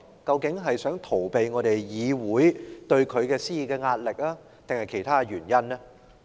究竟他是想逃避議會對他施加的壓力，還是另有原因呢？